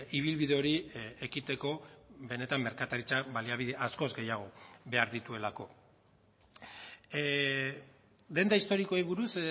ibilbide hori ekiteko benetan merkataritza baliabide askoz gehiago behar dituelako denda historikoei buruz